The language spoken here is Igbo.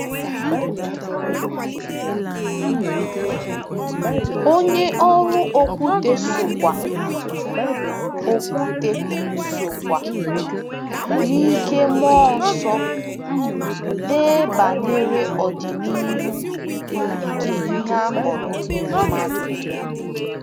Onye ọrụ Okwute sokwa Okwute sokwa n'ike mmụọ nsọ dee banyere ọdịnihu nke ihe a kpọrọ mmadụ.